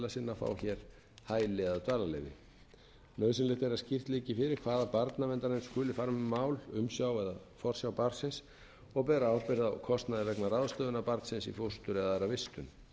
að fá hér hæli eða dvalarleyfi nauðsynlegt er að skýrt liggi fyrir hvaða barnaverndarnefnd skuli fara með mál umsjá eða forsjá barnsins og bera ábyrgð á kostnaði vegna ráðstöfunar barnsins í fóstur eða aðra vistun